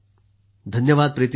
धन्यवाद प्रीती जी